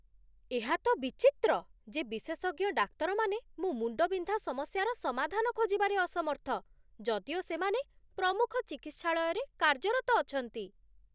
ଏହା ତ ବିଚିତ୍ର, ଯେ ବିଶେଷଜ୍ଞ ଡାକ୍ତରମାନେ ମୋ ମୁଣ୍ଡବିନ୍ଧା ସମସ୍ୟାର ସମାଧାନ ଖୋଜିବାରେ ଅସମର୍ଥ, ଯଦିଓ ସେମାନେ ପ୍ରମୁଖ ଚିକିତ୍ସାଳୟରେ କାର୍ଯ୍ୟରତ ଅଛନ୍ତି!